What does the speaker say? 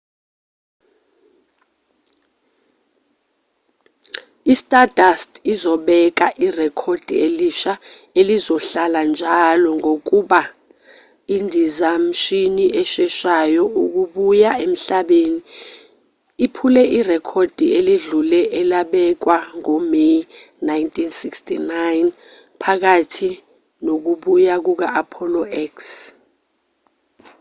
i-stardust uzobeka irekhodi elisha elizohlala-njalo ngokuba indizamshini esheshayo ukubuya emhlabeni iphule irekhodi eledlule elabekwa ngo-may 1969 phakathi nokubuya kuka-apollo x